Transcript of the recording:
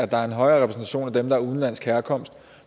der er en højere repræsentation af dem med udenlandsk herkomst